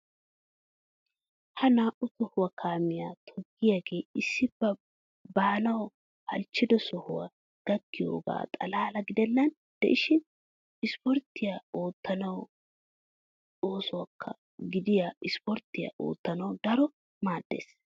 Ha naa"u tohuwa kaamiya toggiyogee issi ba baanawu halchchido sohuwa gakkiyogaa xalaala gidennan de'ishin isporttiya oottanawu usakka gediya ispporttiya oottanawu daro maaddees.